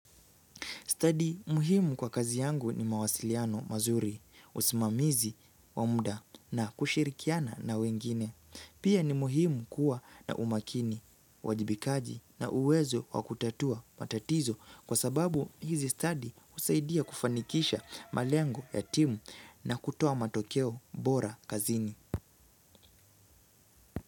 Study muhimu kwa kazi yangu ni mawasiliano mazuri, usimamizi wa muda na kushirikiana na wengine. Pia ni muhimu kuwa na umakini, uwajibikaji na uwezo wakutatua matatizo kwa sababu hizi study husaidia kufanikisha malengo ya timu na kutoa matokeo bora kazini.